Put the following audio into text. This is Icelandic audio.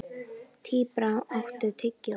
Tíbrá, áttu tyggjó?